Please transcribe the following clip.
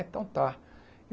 Então tá.